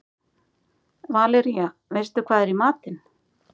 Valería, hvað er í matinn?